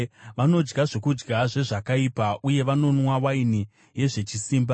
Vanodya zvokudya zvezvakaipa, uye vanonwa waini yezvechisimba.